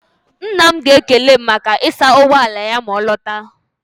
Nna m ga-ekele m maka ịsa ụgbọ ala ya ma ọ lọta.